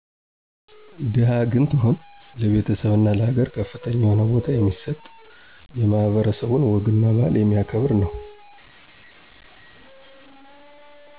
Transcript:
ደሀ ግን ትሁት፣ ለቤተሰብና ለሀገር ከፍተኛ የሆነ በታ የሚሰጥ። የማህበረሰቡን ወግና ባህል የሚያከብር ነው።